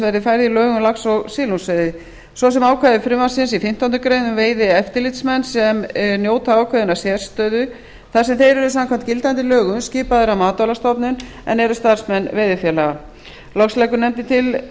verði færð í lög um lax og silungsveiði svo sem ákvæði frumvarpsins í fimmtándu grein um veiðieftirlitsmenn sem njóta ákveðinnar sérstöðu þar sem þeir eru samkvæmt gildandi lögum skipaðir af matvælastofnun en eru starfsmenn veiðifélaga loks leggur nefndin til